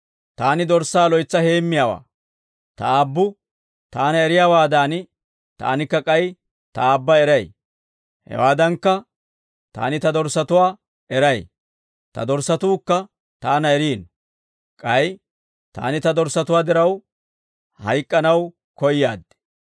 «Taani dorssaa loytsa heemmiyaawaa; Ta Aabbu Taana eriyaawaadan, Taanikka k'ay Ta Aabba eray. Hewaadankka, Taani Ta dorssatuwaa eray; Ta dorssatuukka Taana eriino. K'ay Taani Ta dorssatuwaa diraw, hayk'k'anaw koyaad.